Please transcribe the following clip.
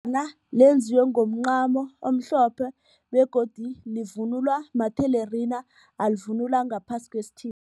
lenziwe ngomncamo omhlophe begodu livunulwa mathelerina alivunula ngaphasi